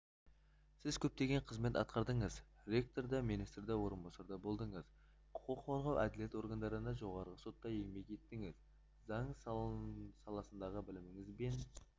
сіз көптеген қызмет атқардыңыз ректор да министрдің орынбасары да болдыңыз құқық қорғау әділет органдарында жоғарғы сотта еңбек еттіңіз заң саласындағыбіліміңіз бен